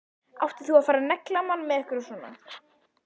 Átti nú að fara að negla mann með einhverju svona?